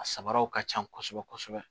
A samaraw ka ca kosɛbɛ kosɛbɛ